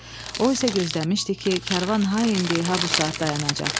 O isə gözləmişdi ki, karvan ha indi, ha bu saat dayanacaq.